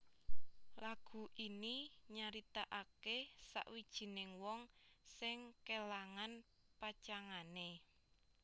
Lagu ini nyaritakake sawijining wong sing kelangan pacangané